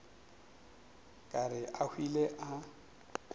ka re a hwile a